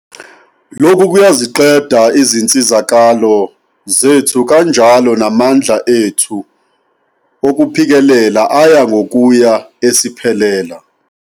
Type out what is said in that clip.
Lokhu kuyaziqeda izinsizakalo zethu kanjalo namandla ethu okuphikelela aya ngokuya esiphelela.